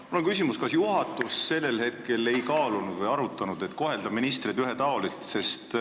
Mul on küsimus, kas juhatus sellel hetkel ei kaalunud või arutanud, et võiks kohelda ministreid ühetaoliselt.